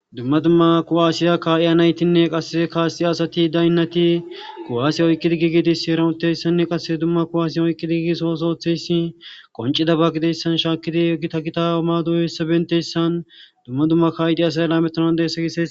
Dumma dumma kuwaasiya kaa'iya naytinne qasse kaasi asati daynnati ku'aasiya oyqqidi gigidis shi eranutteyssanne qasse dumma kuwaasiya oyqqidi gigi soosootheyssi qoncida ba gideyssan shaakidi gita gita omaadoyoyssabentessan dumma dumma kaa'iti asay ella meonandessa gie.